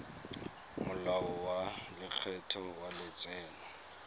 molao wa lekgetho wa letseno